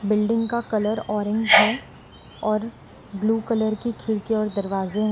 Building का colour orange है और ब्लू कलर की खिड़की और दरवाजे हैं।